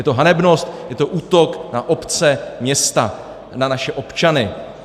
Je to hanebnost, je to útok na obce, města, na naše občany.